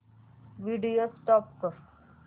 video stop कर